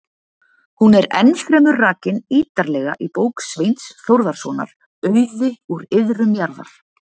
Hún er ennfremur rakin ítarlega í bók Sveins Þórðarsonar, Auði úr iðrum jarðar.